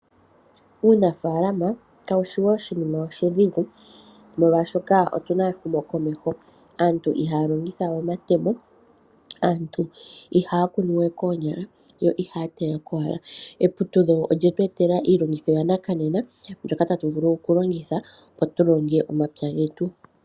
Uunafaalama kawu shi oshinima oshidhigu ,molwashoka otu na aantu mboka ehumokomeho aantu ihaya longitha we omatemo, aantu ihaya kune we koonyala ,yo ihaya taya koonyala eputudho olye tu etala iilongotho yakananena mbyoka tatu vulu okulongitha opo tu longe omapya getu.